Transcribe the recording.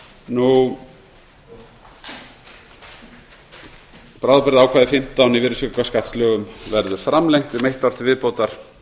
endurgreiðslna bráðabirgðaákvæði fimmtán í virðisaukaskattslögunum verður framlengt um eitt ár til viðbótar